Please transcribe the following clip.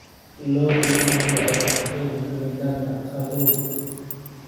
Lo'du ma jecla cimilada qabow.